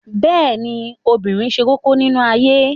Bẹ́ẹ̀ ni, obìnrin ṣe kókó nínú ayé